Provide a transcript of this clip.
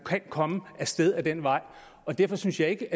komme af sted ad den vej og derfor synes jeg ikke